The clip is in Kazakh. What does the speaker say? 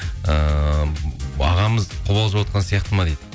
ыыы ағамыз қобалжып отырған сияқты ма дейді